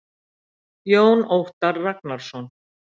Jón Óttar Ragnarsson.